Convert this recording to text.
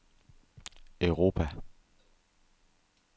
Europa